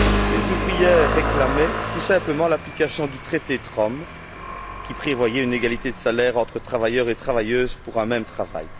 Les ouvrières réclamaient tout simplement l'application du traité de Rome, qui prévoyait une égalité de salaire entre travailleurs et travailleuses pour un même travail.